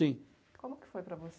Como que foi para você?